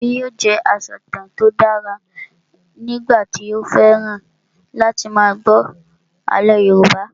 Akànbi yóò jẹ asọ̀tàn tí ó dára nígbà tí ó fẹ́ràn láti máa gbọ́ àlọ́ Yorùbá